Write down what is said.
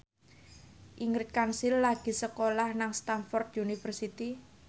Ingrid Kansil lagi sekolah nang Stamford University